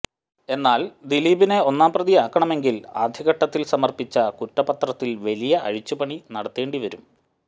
എന്നാൽ ദിലീപിനെ ഒന്നാം പ്രതിയാക്കണമെങ്കിൽ ആദ്യഘട്ടത്തിൽ സമർപ്പിച്ച കുറ്റപത്രത്തിൽ വലിയ അഴിച്ചു പണി നടത്തേണ്ടി വരും